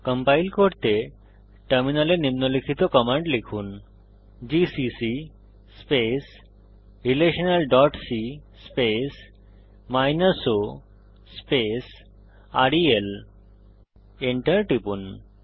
compile করতে টার্মিনালে নিম্নলিখিত কমান্ড লিখুন জিসিসি relationalসি o রেল Enter টিপুন